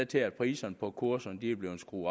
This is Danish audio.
til at priserne på kurserne er blevet skruet